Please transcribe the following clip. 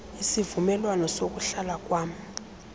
isivumelwano sokuhlala kwam